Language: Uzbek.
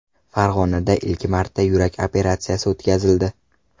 Farg‘onada ilk marta yurak operatsiyasi o‘tkazildi.